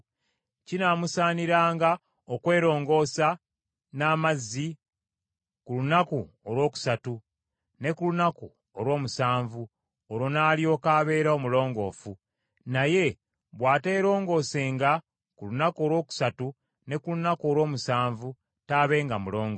Kinaamusaaniranga okwerongoosa n’amazzi ku lunaku olwokusatu ne ku lunaku olw’omusanvu, olwo n’alyoka abeera omulongoofu. Naye bw’ateerongoosenga ku lunaku olwokusatu ne ku lunaku olw’omusanvu, taabenga mulongoofu.